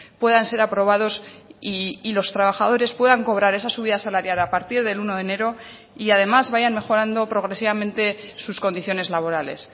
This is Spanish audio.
puedan ser aprobados y los trabajadores puedan cobrar esa subida salarial a partir del uno de enero y además vayan mejorando progresivamente sus condiciones laborales